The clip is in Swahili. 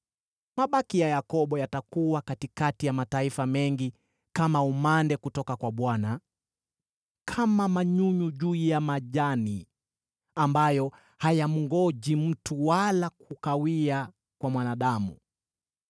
Mabaki ya Yakobo yatakuwa katikati ya mataifa mengi kama umande kutoka kwa Bwana , kama manyunyu juu ya majani, ambayo hayamngoji mtu wala kukawia kwa mwanadamu.